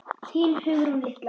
Þín Hugrún litla.